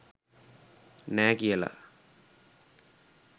නෑ කියල